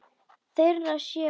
Þeirra sé valið.